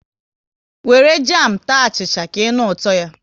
Wéré jamu taa achịcha, ka ịnụ ụtọ ya